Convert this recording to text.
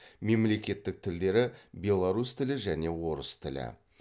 мемлекеттік тілдері беларус тілі және орыс тілі